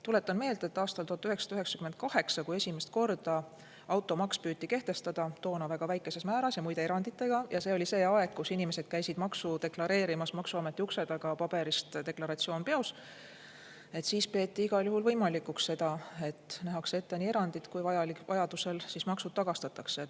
Tuletan meelde, et aastal 1998, kui esimest korda automaks püüti kehtestada, toona väga väikeses määras ja muide eranditega – ja see oli aeg, kui inimesed käisid makse deklareerimas maksuameti ukse taga, paberist deklaratsioon peos –, peeti igal juhul võimalikuks, et nähakse ette erandid ja ka see, et vajadusel maksuraha tagastatakse.